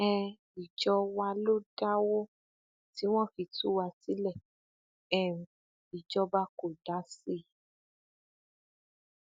um ìjọ wa ló dáwó tí wọn fi tú wa sílé um ìjọba kò dá sí i